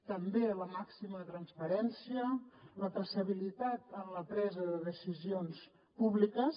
també la màxima transparència i la traçabilitat en la presa de decisions públiques